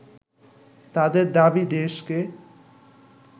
তাদের দাবি দেশকে